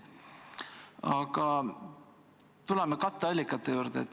Aga tuleme katteallikate juurde.